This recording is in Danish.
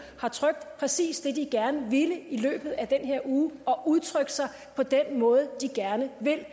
har trykt præcis det de gerne ville i løbet af den her uge og har udtrykt sig på den måde de gerne ville